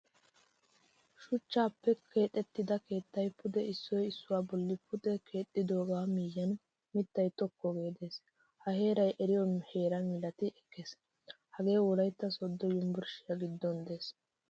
Shuchchappe keexettida keettay pude issuwaa issuwaa bollan pude keexidoga miyiyan mitta tokkoge de'ees. Ha heeray eriyo heeraa milaati ekkees. Hagee wolaytta sodo yunburshshiyaa giddon de'ees.